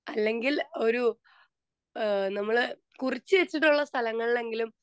speaker 2 അല്ലങ്കിൽ ഒരു നമ്മള്കുറിച്ചുവെച്ചിട്ടുള്ള സ്ഥലങ്ങളിൽ എങ്കിലും